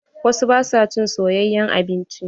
Wasu ba su cin soyayen abinci.